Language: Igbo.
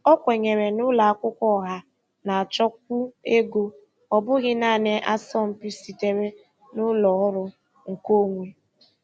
O kwenyere na ụlọ akwụkwọ ọha na-achọkwu ego, ọ bụghị naanị asọmpi sitere na ụlọ ọrụ nkeonwe.